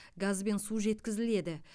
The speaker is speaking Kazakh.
газ бен су жеткізіледі